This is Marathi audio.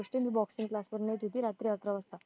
येते मी boxing class वर्ण किती रात्री अकरा वाजता